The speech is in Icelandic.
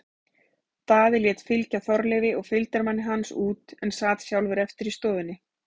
Daði lét fylgja Þorleifi og fylgdarmanni hans út en sat sjálfur eftir í stofunni.